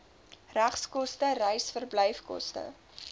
regskoste reis verblyfkoste